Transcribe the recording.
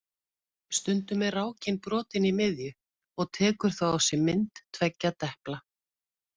Stundum er rákin brotin í miðju og tekur þá á sig mynd tveggja depla.